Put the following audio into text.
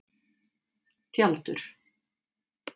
Tjaldur